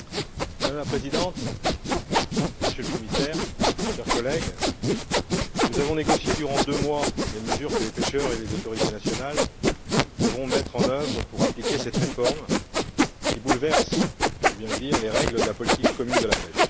Madame la Présidente, Monsieur le Commissaire, chers collègues, nous avons négocié durant deux mois les mesures que les pêcheurs et les autorités nationales devront mettre en œuvre pour appliquer cette réforme, qui bouleverse, il faut bien le dire, les règles de la politique commune de la pêche.